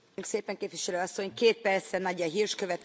Frau Präsidentin, Frau Kommissarin, liebe Kollegen!